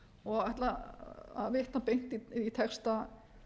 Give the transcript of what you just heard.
og ætla að vitna beint í texta